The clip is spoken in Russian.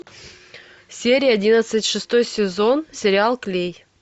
серия одиннадцать шестой сезон сериал клей